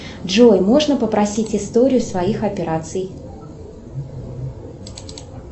джой можно попросить историю своих операций